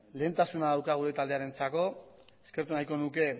lehentasuna dauka gure taldearentzako eskertu nahiko nuke